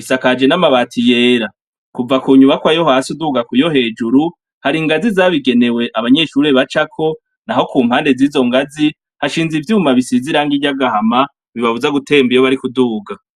isakaje n'amabati yera, kuva ku nyubakwa yo hasi uduga ku yo hejuru hari ingazi zabigenewe abanyeshuri bacako, naho ku mpande z'izo ngazi hashinze ivyuma bisize iranga ryagahama bibabuza gutemba iyo bari kuduga.